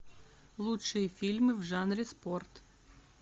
лучшие фильмы в жанре спорт